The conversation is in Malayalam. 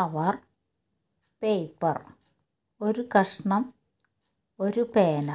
അവർ പേപ്പർ ഒരു കഷണം ഒരു പേന